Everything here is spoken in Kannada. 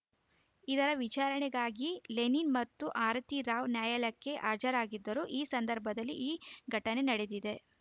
ಇದರ ವಿಚಾರಣೆಗಾಗಿ ಲೆನಿನ್‌ ಮತ್ತು ಆರತಿ ರಾವ್‌ ನ್ಯಾಯಾಲಯಕ್ಕೆ ಹಾಜರಾಗಿದ್ದರು ಈ ಸಂದರ್ಭದಲ್ಲಿ ಈ ಘಟನೆ ನಡೆದಿದೆ